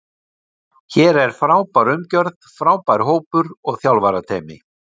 Hér er frábær umgjörð, frábær hópur og þjálfarateymi.